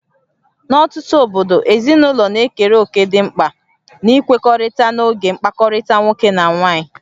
N'ọtụtụ obodo, ezinụlọ na-ekere òkè dị mkpa n'ikwekọrịta n'oge mkpakọrịta nwoke na nwaanyị